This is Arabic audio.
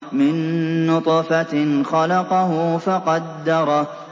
مِن نُّطْفَةٍ خَلَقَهُ فَقَدَّرَهُ